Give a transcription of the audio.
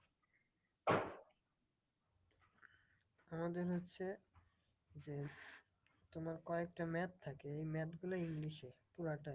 আমাদের হচ্ছে যে তোমার কয়েকটা math থাকে ওই math গুলো ইংলিশে পুরাটাই।